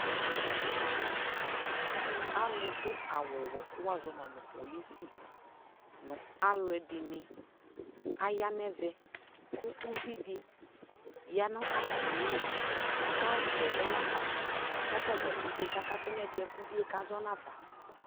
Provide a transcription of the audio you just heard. alʋ dʋ awʋ wɛɛ kʋ wazɔma polisi, nʋ alʋɛdini ayanʋ ɛvɛ kʋ ʋvidi yanʋ atamili kʋ ɔka yɛsɛ zɔnafa kʋ atagya pɛtɛɛ kakatʋ nʋ ɛdiɛ kʋ ʋviɛ kazɔ nʋ aƒa